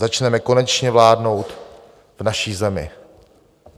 Začneme konečně vládnout v naší zemi."